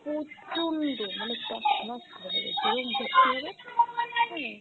প্রচন্ড মানে তছনছ হবে, যেরম হবে